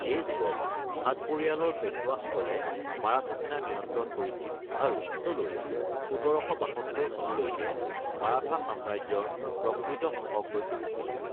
এই যুগত, ভাট পৰিয়ালৰ পেশ্বোৱাসকলে মাৰাঠা সেনা নিয়ন্ত্ৰণ কৰিছিল আৰু পিছলৈ ১৭৭২ চনলৈকে মাৰাঠা সাম্ৰাজ্যৰ প্ৰকৃত শাসক হৈ পৰিছিল।